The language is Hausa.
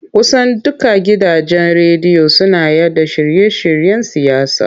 Kusan dukkan gidajen rediyo suna yaɗa shirye-shiryen siyasa.